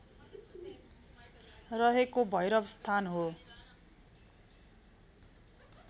रहेको भैरवस्थान हो